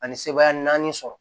Ani sebaaya naani sɔrɔ